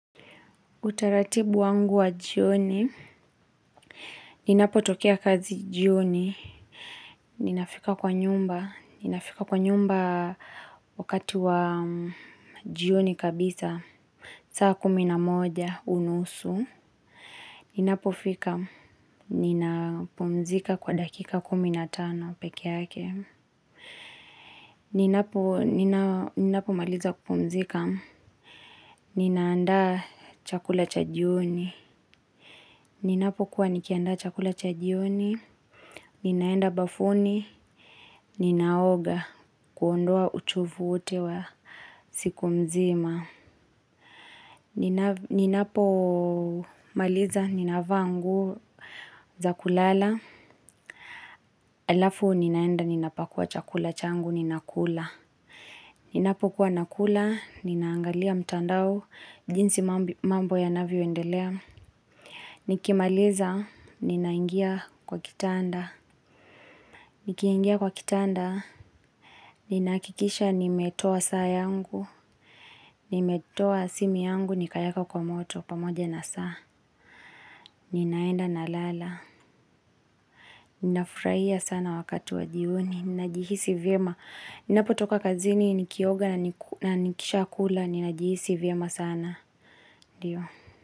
Utaratibu wangu wa jioni, ninapo tokea kazi jioni, ninafika kwa nyumba, ninafika kwa nyumba wakati wa jioni kabisa, saa kumi na moja unusu, ninapo fika, ninapumzika kwa dakika kumi na tano pekee yake. Ninapo maliza kupumzika. Ninaanda chakula cha jioni. Ninapo kuwa nikianda chakula cha jioni ninaenda bafuni. Ninaoga kuondoa uchovu wote wa siku nzima. Ninapo maliza ninavaa nguo za kulala. Alafu ninaenda ninapakua chakula changu. Ninakula. Ninapo kuwa nakula ninaangalia mtandao jinsi mambo yanavyo endelea. Nikimaliza ninaingia kwa kitanda. Nikiingia kwa kitanda nina hakikisha nimetoa saa yangu. Nimetoa simu yangu nika weka kwa moto pamoja na saa. Ninaenda nalala. Ninafurahia sana wakati wa jioni. Nina jihisi vyema. Ninapotoka kazini nikioga na nikisha kula nina jihisi vyema sana ndio.